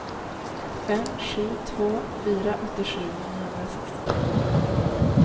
fem sju två fyra åttiosju niohundrasextiotre